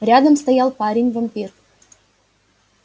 рядом стоял парень-вампир